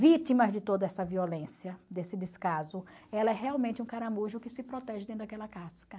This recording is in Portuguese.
vítimas de toda essa violência, desse descaso, ela é realmente um caramujo que se protege dentro daquela casca.